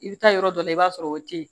I bɛ taa yɔrɔ dɔ la i b'a sɔrɔ o tɛ yen